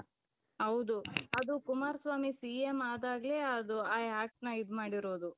ಹೌದು ಅದು ಕುಮಾರಸ್ವಾಮಿ C.M ಆದಾಗ್ಲೆ ಅದು ಆ actನ ಇದು ಮಾಡಿರೋದು.